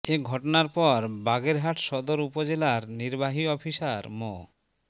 এ ঘটনার পর বাগেরহাট সদর উপজেলার নির্বাহী অফিসার মো